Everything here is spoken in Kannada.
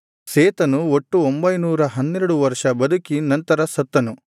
ಸೇತನು ಒಟ್ಟು ಒಂಭೈನೂರ ಹನ್ನೆರಡು ವರ್ಷ ಬದುಕಿ ನಂತರ ಸತ್ತನು